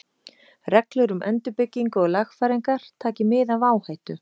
Reglur um endurbyggingu og lagfæringar, taki mið af áhættu.